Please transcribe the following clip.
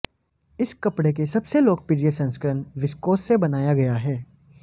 इस कपड़े के सबसे लोकप्रिय संस्करण विस्कोस से बनाया गया है